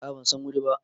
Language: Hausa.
A a ban San wuri ba.